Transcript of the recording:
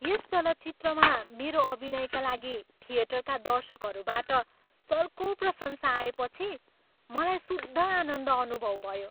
यस चलचित्रमा मेरो अभिनयका लागि थिएटरका दर्शकहरूबाट चर्को प्रशंसा आएपछि मलाई शुद्ध आनन्द अनुभव भयो।